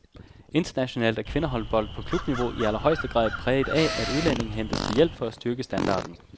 Internationalt er kvindehåndbold på klubniveau i allerhøjeste grad præget af, at udlændinge hentes til hjælp for at styrke standarden.